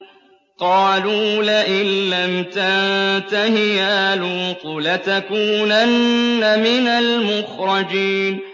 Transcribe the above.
قَالُوا لَئِن لَّمْ تَنتَهِ يَا لُوطُ لَتَكُونَنَّ مِنَ الْمُخْرَجِينَ